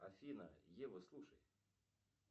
афина ева слушай